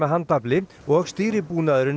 handafli og